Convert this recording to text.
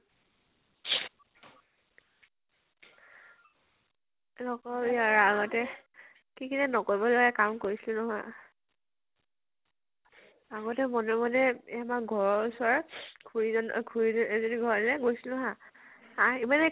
নকবি আৰু আগতে কি কি যে নকৰিব লগা কাম কৰিছিলো নহয় । আগতে মনে মনে, আমাৰ ঘৰ ৰ ওচৰত খুৰী খুৰী এজনি ঘৰলৈ গৈছিলো হা, আহি পিনে